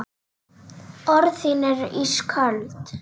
Orð þín eru ísköld.